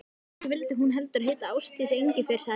Kannski vildi hún heldur heita Ásdís Engifer, sagði ég.